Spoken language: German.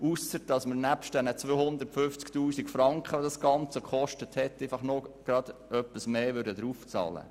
Doch zusätzlich zu den 250 000 Franken, die das Ganze gekostet hat, würden wir einfach noch etwas mehr bezahlen.